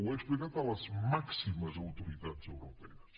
ho he explicat a les màximes autoritats europees